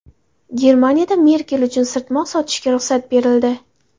Germaniyada Merkel uchun sirtmoq sotishga ruxsat berildi.